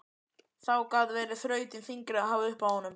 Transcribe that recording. Þá gat verið þrautin þyngri að hafa upp á honum.